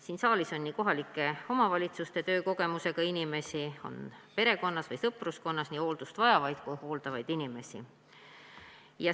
Siin saalis on kohalike omavalitsuste töö kogemusega inimesi, samuti on meil kõigil perekonnas või sõpruskonnas nii hooldust vajavaid kui ka hooldavaid inimesi.